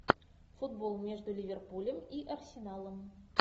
футбол между ливерпулем и арсеналом